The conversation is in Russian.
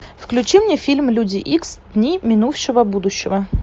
включи мне фильм люди икс дни минувшего будущего